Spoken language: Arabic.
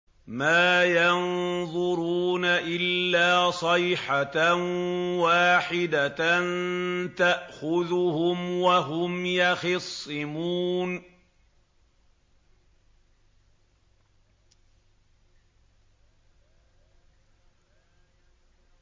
مَا يَنظُرُونَ إِلَّا صَيْحَةً وَاحِدَةً تَأْخُذُهُمْ وَهُمْ يَخِصِّمُونَ